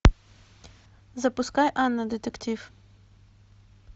запускай анна детектив